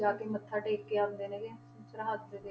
ਜਾ ਕੇ ਮੱਥਾ ਟੇਕ ਕੇ ਆਉਂਦੇ ਨੇ ਗੇ, ਸਰਹੱਦ ਦੇ।